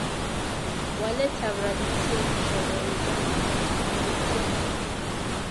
Waletab rabisiek chebo uganda kotiana